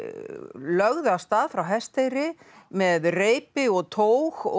lögðu af stað frá Hesteyri með reipi og tóg og